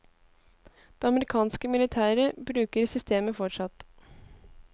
Det amerikanske militæret bruker systemet fortsatt.